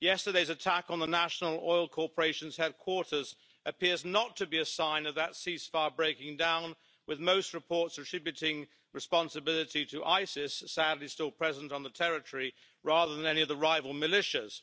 Yesterday's attack on the National Oil Corporation's headquarters appears not to be a sign of that ceasefire breaking down, with most reports attributing responsibility to Isis sadly, still present on the territory rather than any of the rival militias.